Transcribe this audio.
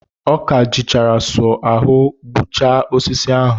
Ọ ka jichara sọ ahụ gbutucha osisi ahụ.